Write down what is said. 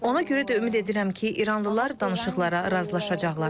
Ona görə də ümid edirəm ki, İranlılar danışıqlara razılaşacaqlar.